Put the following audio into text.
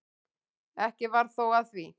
Ekki varð þó af því.